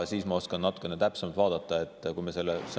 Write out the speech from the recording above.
Siis ma oskan natukene täpsemalt midagi selle kohta öelda.